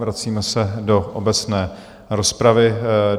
Vracíme se do obecné rozpravy.